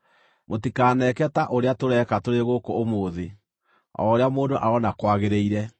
Mũtikaneke ta ũrĩa tũreka tũrĩ gũkũ ũmũthĩ, o ũrĩa mũndũ aroona kwagĩrĩire,